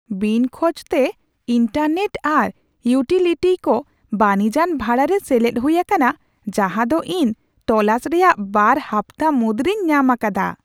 ᱵᱤᱱ ᱠᱷᱚᱡᱽᱛᱮ, ᱤᱱᱴᱟᱨᱱᱮᱴ ᱟᱨ ᱤᱭᱩᱴᱤᱞᱤᱴᱭ ᱠᱚ ᱵᱟᱹᱱᱤᱡᱟᱱ ᱵᱷᱟᱲᱟᱨᱮ ᱥᱮᱞᱮᱫ ᱦᱩᱭ ᱟᱠᱟᱱᱟ ᱡᱟᱸᱦᱟ ᱫᱚ ᱤᱧ ᱛᱳᱞᱟᱥ ᱨᱮᱭᱟᱜ ᱵᱟᱨ ᱦᱟᱯᱛᱟ ᱢᱩᱫᱽᱨᱮᱧ ᱧᱟᱢ ᱟᱠᱟᱫᱟ ᱾